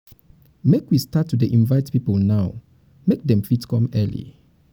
make we start make we start to dey invite people now make um dem fit come early.